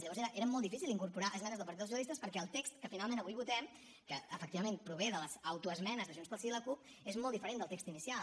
llavors era molt difícil incorporar esmenes del partit dels socialistes perquè el text que finalment avui votem que efectivament prové de les autoesmenes de junts pel sí i la cup és molt diferent del text inicial